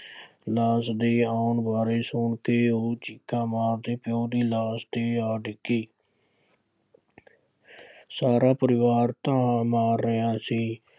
ਲਾਸ਼ ਦੇ ਆਉਣ ਬਾਰੇ ਸੁਣ ਕੇ ਉਹ ਚੀਕਾਂ ਮਾਰਦੇ ਪਿਉ ਦੀ ਲਾਸ਼ ਤੇ ਆ ਡਿੱਗੀ। ਸਾਰਾ ਪਰਿਵਾਰ ਧਾਹਾਂ ਮਾਰ ਰਿਹਾ ਸੀ।